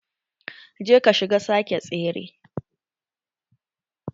Je ka shiga sake tsere.